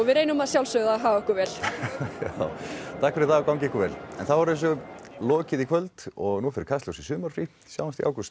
reynum að sjálfsögðu að haga okkur vel takk fyrir og gangi ykkur vel já þá er þessu lokið í kvöld og nú fer Kastljós í sumarfrí sjáumst í ágúst